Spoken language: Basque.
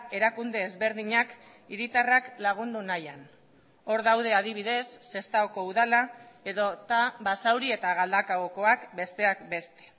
erakunde ezberdinak hiritarrak lagundu nahian hor daude adibidez sestaoko udala edota basauri eta galdakaokoak besteak beste